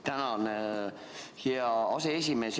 Tänan, hea aseesimees!